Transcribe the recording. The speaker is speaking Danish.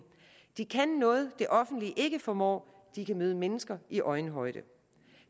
de kan noget det offentlige ikke formår de kan møde mennesker i øjenhøjde